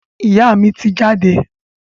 Ìyá mi ti jáde.